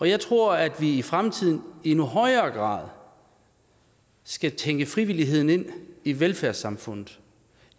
jeg tror at vi i fremtiden i endnu højere grad skal tænke frivilligheden ind i velfærdssamfundet